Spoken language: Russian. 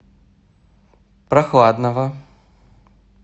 прохладного